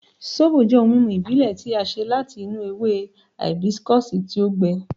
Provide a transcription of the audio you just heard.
Sóbò jẹ́ ohun mímu ìbílẹ̀ tí a ṣe láti inú ewe hìbísíkọ̀sì tí ó gbẹ.